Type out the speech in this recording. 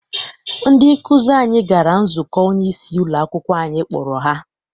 Ndị nkụzi anyị gara nzukọ onyeisi ụlọakwụkwọ anyị kpọrọ ha.